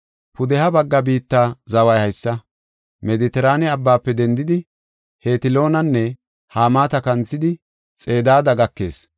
“Pudeha bagga biitta zaway haysa: Medetiraane Abbaafe dendidi, Hetloonanne Hamaata kanthidi, Xedaada gakees.